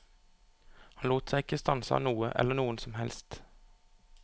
Han lot seg ikke stanse av noe eller noen som helst.